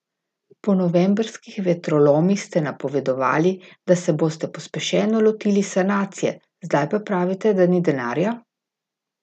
Po novembrskih vetrolomih ste napovedovali, da se boste pospešeno lotili sanacije, zdaj pa pravite, da ni denarja?